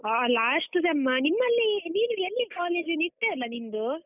ಹಾ last sem ಆ? ನಿಮ್ಮಲ್ಲಿ ನೀನು ಎಲ್ಲಿ college , ನಿಟ್ಟೆ ಅಲ್ಲ ನಿಂದು?